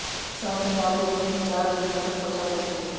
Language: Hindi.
साथ ही आप अपने विचार दुनिया तक पहुंचा सकेंगे